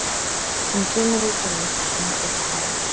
Hún kemur út úr eldhúsinu og hváir